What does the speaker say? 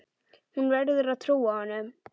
Hún verður að trúa honum.